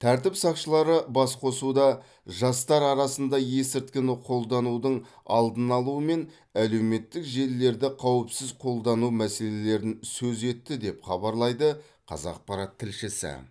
тәртіп сақшылары басқосуда жастар арасында есірткіні қолданудың алдын алу мен әлеуметтік желілерді қауіпсіз қолдану мәселелерін сөз етті деп хабарлайды қазақпарат тілшісі